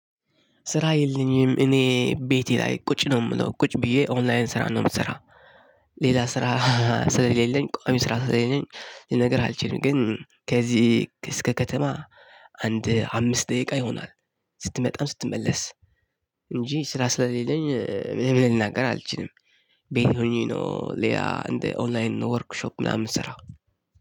ስራ የለኚም እኔ ቤቴ ላይ ቁጭ ነው የምለው ቁጭ ብዬ ኦንላይን ስራ ነው የምሰራው። ሌላ ስራ ስለሌለኝ ቋሚ ስራ ስለሌለኝ ይሄ ነገር አልችልም ግን ከዚህ እስከ ከተማ አንድ አምስት ደቂቃ ይሆናል። ስትመጣም ስትመለስ እንጂ ስራ ስለሌለኝ ምንም ልናገር አልችልም። ቤት ሆኜ ነው ሌላ እንደ ኦንላይን ነው ወርክሾፕ ምናምን ስራው